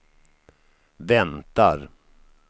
väntar